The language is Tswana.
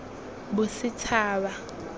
bosetshaba